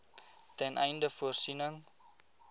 ten einde voorsiening